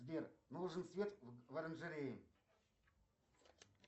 сбер нужен свет в оранжерее